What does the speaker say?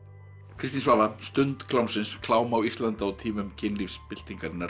Kristín Svava stund klám á Íslandi á tímum